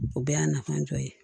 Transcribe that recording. O bɛɛ y'a nafa dɔ ye